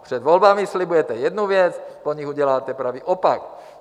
Před volbami slibujete jednu věc, po nich uděláte pravý opak.